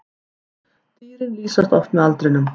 Dýrin lýsast oft með aldrinum.